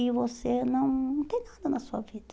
E você não não tem nada na sua vida.